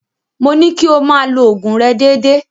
Mo ní kí o máa lo òògùn rẹ déédéé.